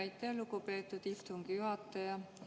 Aitäh, lugupeetud istungi juhataja!